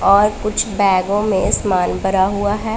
और कुछ बैगों में समान भरा हुआ है।